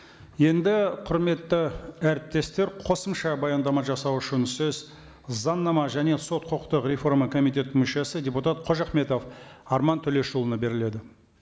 енді құрметті әріптестер қосымша баяндама жасау үшін сөз заңнама және сот құқықтық комитетінің мүшесі депутат қожахметов арман төлешұлына беріледі